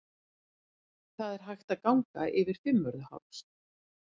Það er hægt að ganga yfir Fimmvörðuháls.